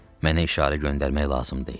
Mənə işarə göndərmək lazım deyil.